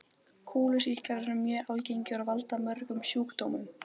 Kúlusýklar eru mjög algengir og valda mörgum sjúkdómum.